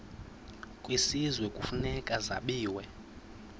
kwisizwe kufuneka zabiwe